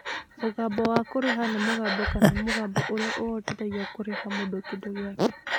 Mũbango wa kũrĩha nĩ mũbango kana mũbango ũrĩa ũhotithagia kũrĩha mũndũ kĩndũ gĩake.